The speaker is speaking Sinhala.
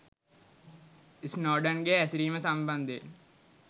ස්නෝඩන්ගේ හැසිරීම සම්බන්ධයෙන්